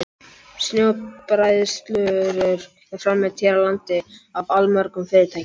Snjóbræðslurör eru framleidd hér á landi af allmörgum fyrirtækjum.